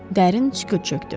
Dərin sükut çökdü.